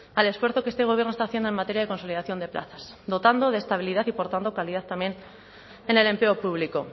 al esfuerzo que este gobierno está haciendo en materia de consolidación de plazas dotando de estabilidad y por tanto calidad también en el empleo público